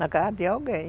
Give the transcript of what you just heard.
Na casa de alguém.